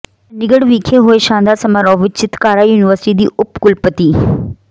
ਚੰਡੀਗੜ੍ਹ ਵਿਖੇ ਹੋਏ ਸ਼ਾਨਦਾਰ ਸਮਾਰੋਹ ਵਿਚ ਚਿਤਕਾਰਾ ਯੂਨੀਵਰਸਿਟੀ ਦੀ ਉਪ ਕੁਲਪਤੀ ਡਾ